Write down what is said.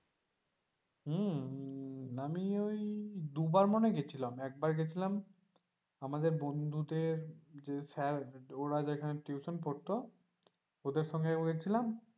হমম আমি ওই দুবার মনে হয় গিয়েছিলাম একবার গিয়েছিলাম আমাদের বন্ধুদের যে স্যার ওরা যেখানে টিউশন পড়তো ওদের সঙ্গে একবার গিয়েছিলাম।